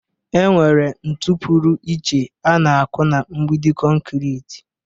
Enwere ntu pụrụ iche ana-akụ na mgbidi kọnkịritị